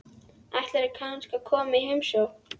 Ætlarðu kannski að koma í heimsókn?